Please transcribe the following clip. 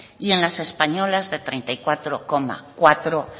y en las españolas treinta y cuatro coma cuatro